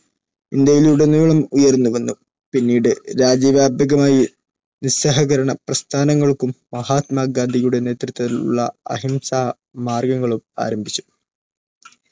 ഇന്ത്യയിലുടനീളം ഉയർന്നുവന്നു. പിന്നീട് രാജ്യവ്യാപകമായി നിസ്സഹകരണ പ്രസ്ഥാനങ്ങൾക്കും മഹാത്മാ ഗാന്ധിയുടെ നേതൃത്വത്തിലുള്ള അഹിംസാ മാർഗങ്ങളും ആരംഭിച്ചു.